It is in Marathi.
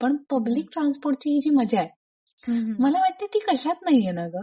पण पब्लिक ट्रान्सपोर्टची ही मजाय मला वाटते ती कशात नाही येणार ग.